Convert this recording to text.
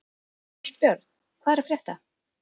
Ástbjörn, hvað er að frétta?